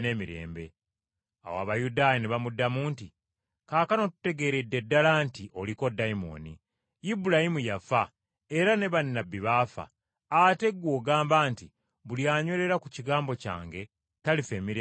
Awo Abayudaaya ne bamuddamu nti, “Kaakano tutegeeredde ddala nti oliko dayimooni. Ibulayimu yafa era ne bannabbi baafa, ate ggwe ogamba nti, ‘Buli anywerera ku kigambo kyange talifa emirembe n’emirembe.’